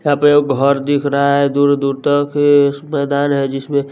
यहां पर एक गो घर दिख रहा है दूर दूर तक इसमें मैदान है जिसमें--